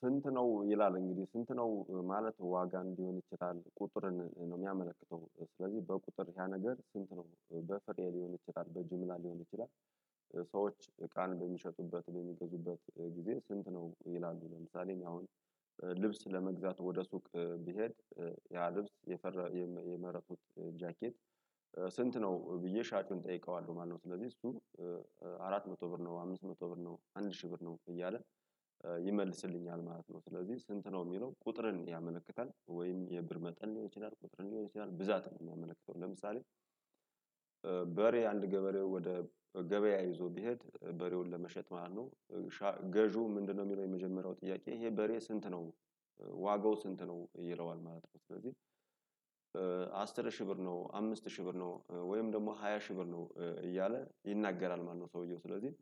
ስንት ነው ይላል እንግዲህ ስንት ነው ማለት ዋጋም ሊሆን ይችላል ቁጥርን ነው የሚያመለክተው ስለዚህ በቁጥር ያ ነገር ስንት ነው በፍሬ ሊሆን ይችላል በጅምላ ሊሆን ይችላል። ሰዎች እቃን በሚሸጡበት በሚገዙበት ጊዜ ስንት ነው ይላሉ ለምሳሌ አሁን ልብስ ለመግዛት ወደ ሱቅ ቢሄድ ያ ልብስ የፈረ የመረጥኩት ጃኬት ስንት ነው ብዬ ሻጩን እጠይቀዋለሁ ማለት ነው። ስለዚህ እሱ አራት መቶ ብር ነው አምስት መቶ ብር ነው አንድ ሺህ ብር ነው እያለ ይመልስልኛል ማለት ነው። ስለዚህ ስንት ነው የሚለው ቁጥርን ያመነክታል ወይም የብር መጠን ሊሆን ይችላል ቁጥርን ሊሆን ይችላል ብዛት ነው የሚያመነክተው ለምሳሌ። በሬ አንድ ገበሬ ወደ ገበያ ይዞ ቢሄድ በሬውን ለመሸጥ ማለት ነው። ገዢው ምንድነው የሚለው የመጀመሪያው ጥያቄ ይሄ በሬ ስንት ነው? ዋጋው ስንት ነው ይለዋል ማለት ነው። ስለዚህ አስር ሺህ ብር ነው አምስት ሺህ ብር ነው ወይም ደግሞ ሃያ ሺህ ብር ነው እያለ ይናገራል ማለት ነው ሰውየው ስለዚህ።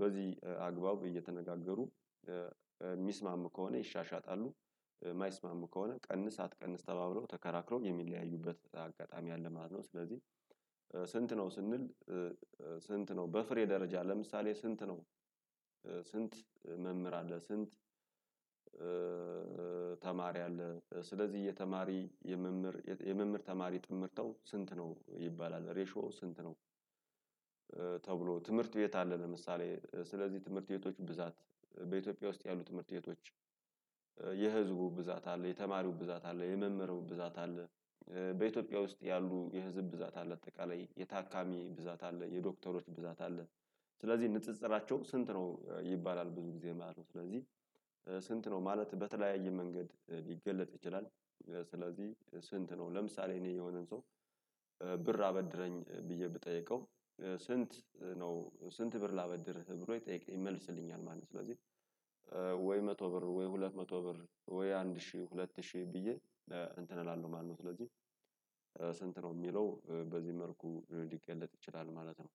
በዚህ አግባብ እየተነጋገሩ የሚስማሙ ከሆነ ይሻሻጣሉ። የማይስማሙ ከሆነ ቀንስ አትቀንስ ተባብለው ተከራክረው የሚለያዩበት አጋጣሚ ያለ ማለት ነው። ስለዚህ ነው ስንል ስንት ነው በፍሬ ደረጃ ለምሳሌ ስንት ነው? ስንት መምህር አለ ስንት? ተማሪ አለ። ስለዚህ የተማሪ የመምህር የመምህር ተማሪ ጥምርታው ስንት ነው ይባላል ሬሾዎ ስንት ነው? ተብሎ ትምህርት ቤት አለ ለምሳሌ ስለዚህ ትምህርት ቤቶች ብዛት በኢትዮጵያ ውስጥ ያሉ ትምህርት ቤቶች። የህዝቡ ብዛት አለ የተማሪው ብዛት አለ የመምህሩ ብዛት አለ። በኢትዮጵያ ውስጥ ያሉ የህዝብ ብዛት አለ አጠቃላይ የታካሚ ብዛት አለ የዶክተሮች ብዛት አለ። ስለዚህ ንጽጽራቸው ስንት ነው ይባላል ብዙ ጊዜ ማለት ነው። ስለዚህ ስንት ነው ማለት በተለያየ መንገድ ሊገለጥ ይችላል። ስለዚህ ስንት ነው ለምሳሌ እኔ የሆነን ሰው ብር አበድረኝ ብዬ ብጠይቀው። ስንት ነው ስንት ብር ላበድርህ ብሎ ይጠይቅ ይመልስልኛል ማለት ነው። ስለዚህ ወይ መቶ ብር ወይ ሁለት መቶ ብር ወይ አንድ ሺህ ሁለት ሺህ ብዬ እንትን እላለሁ ማለት ነው። ስለዚህ ስንት ነው የሚለው በዚህ መልኩ ልገለጥ ይችላል ማለት ነው።